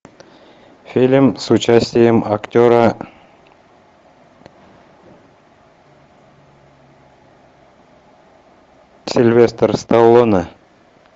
фильм с участием актера сильвестр сталлоне